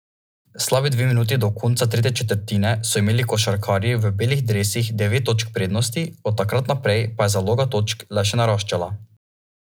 Slabi dve minuti do konca tretje četrtine so imeli košarkarji v belih dresih devet točk prednosti, od takrat naprej pa je zaloga točk le še naraščala.